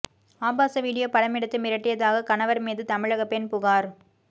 ஆபாச வீடியோ படமெடுத்து மிரட்டியதாக கணவர் மீது தமிழக பெண் புகார்